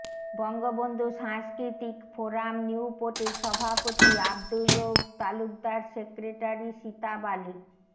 বঙ্গবন্ধু সাংস্কৃতিক ফোরাম নিউপোটের সভাপতি আব্দুর রুউফ তালুকদার সেক্রেটারি সিতাব আলি